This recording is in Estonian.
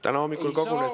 Täna hommikul kogunes.